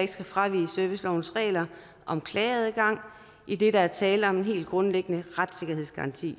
ikke skal fravige servicelovens regler om klageadgang idet der er tale om en helt grundlæggende retssikkerhedsgaranti